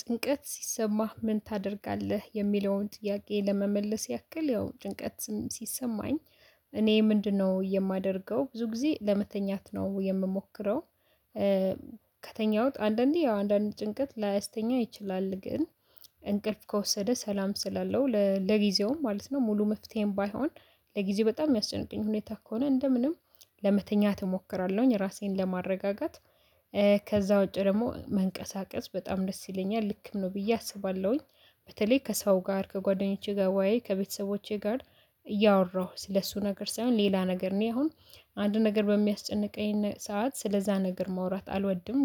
ጭንቀት ሲሰማህ ምን ታደርጋለህ የሚለውን ጥያቄ ለመመለስ ያክል ያው ጭንቀትም ሲሰማኝ እኔ ምንድነው የማደርገው ብዙ ጊዜ ለመተኛት ነው የምሞክረው። ከተኛሁት አንዳንዴ ያው አንዳንድ ጭንቀት ላያስተኛ ይችላል። ግን እንቅልፍ ከወሰደ ሰላም ስላለው ለጊዜውም ማለት ነው። ሙሉ መፍትሄን ባይሆን ለጊዜ በጣም የሚያስጨንቅኝ ሁኔታ ከሆነ እንደ ምንም ለመተኛት እሞክራለሁኝ ራሴን ለማረጋጋት። ከዛ ውጪ ደግሞ መንቀሳቀስ በጣም ደስ ይለኛል ልክም ነው ብዬ አስባለሁኝ። በተለይ ከሰው ጋር ከጓደኞቼ ጋር ወይ ከቤተሰቦቼ ጋር እያወራሁ ስለሱ ነገር ሳይሆን ሌላ ነገር እኔ አሁን አንድ ነገር በሚያስጨንቀኝ ሰዓት ስለዛ ነገር ማውራት አልወድም።